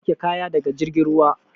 Za a sauke kaya daga jirgin ruwa.